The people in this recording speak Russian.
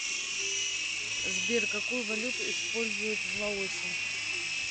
сбер какую валюту используют в лаосе